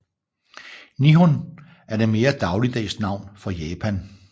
Nihon er det mere dagligdags navn for Japan